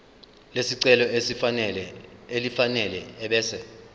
lesicelo elifanele ebese